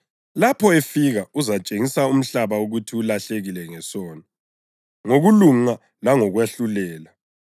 Lapho efika uzatshengisa umhlaba ukuthi ulahlekile ngesono, ngokulunga langokwahlulelwa: